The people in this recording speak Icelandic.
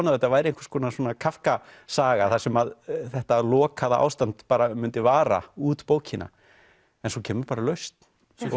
að þetta væri einhvers konar Kafka saga þar sem þetta lokaða ástand mundi vara út bókina en svo kemur bara lausn